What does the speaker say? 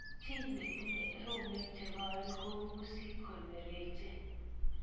Che tinyei eunek che koen kou pusit kongeringitu